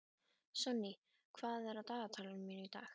Sonný, hvað er á dagatalinu mínu í dag?